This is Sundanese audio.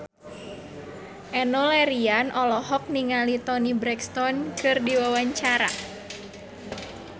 Enno Lerian olohok ningali Toni Brexton keur diwawancara